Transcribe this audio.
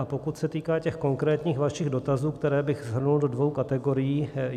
A pokud se týká těch konkrétních vašich dotazů, které bych shrnul do dvou kategorií.